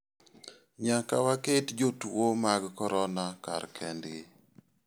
Nyaka waket jotuo mag corona kar kendgi.